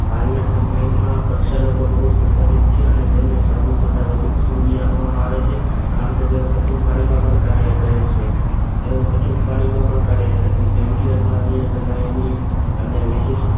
હાલના સમયમાં પ્રક્ષાલકો બહુ જ પ્રચલિત છે અને તેમને સાબુ કરતા વધુ પસંદગી આપવામાં આવે છે કારણ કે તેઓ કઠિન પાણીમાં પણ કાર્ય કરે છે એવું કઠિન પાણીમાં પણ કાર્ય કરે છે જેમ કે અરુણાની ગનનીય અને વિશિષ્ટ